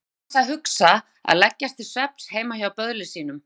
Hvað var hann annars að hugsa að leggjast til svefns heima hjá böðli sínum?